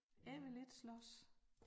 Jeg vil ikke slås